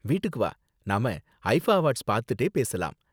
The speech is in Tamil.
வீட்டுக்கு வா, நாம ஐஃபா அவார்ட்ஸ் பாத்துகிட்டே பேசலாம்.